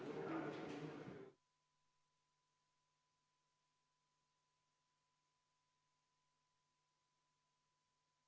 Palun võtke seisukoht ja hääletage!